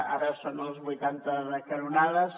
ara són els vuitanta de canonades